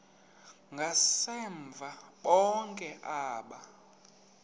ngasemva bonke aba